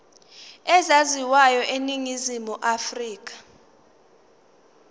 ezaziwayo eningizimu afrika